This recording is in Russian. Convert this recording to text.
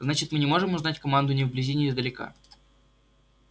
значит мы не можем узнать команду ни вблизи ни издалека